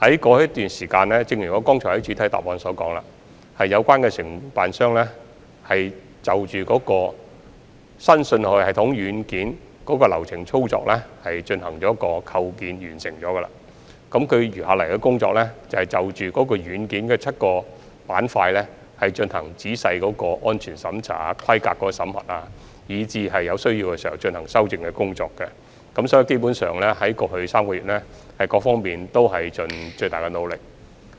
過去一段時間，正如我在主體答覆中表示，有關承辦商就新信號系統軟件流程操作進行的建構工作已經完成，餘下的工作是就軟件的7個板塊進行仔細的安全審查、規格審核，以及在有需要時進行修正工作，所以，在過去3個月，各方面基本上已盡了最大努力。